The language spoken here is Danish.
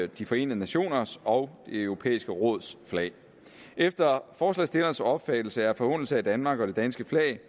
de forenede nationers og det europæiske råds flag efter forslagsstillernes opfattelse er en forhånelse af danmark og det danske flag